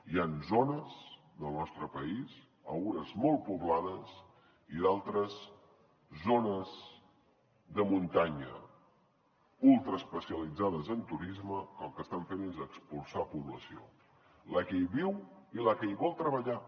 hi han zones del nostre país algunes molt poblades i d’altres zones de muntanya ultraespecialitzades en turisme que el que estan fent és expulsar població la que hi viu i la que hi vol treballar